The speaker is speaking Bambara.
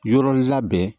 Yɔrɔ labɛn